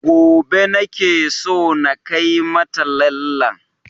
Gobe nake so na kai mata lallen